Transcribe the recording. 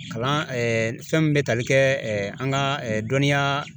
Kalan fɛn min bɛ tali kɛ an ŋa dɔnniyaa